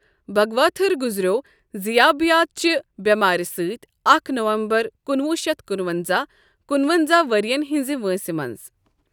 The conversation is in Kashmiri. بھگواتھر گزرٮ۪و ضِیابِیات چہِ بٮ۪مارِ سۭتۍ اکھ نومبر کُنوُہ شیتھ کُنونزہ، کُنونزاہ ؤرین ہِنٛز وٲنٛسہِ منز۔